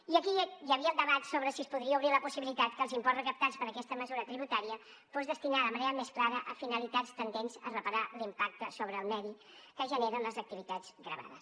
i aquí hi havia el debat sobre si es podria obrir la possibilitat que els imports recaptats per aquesta mesura tributària fossin destinats de manera més clara a finalitats tendents a reparar l’impacte sobre el medi que generen les activitats gravades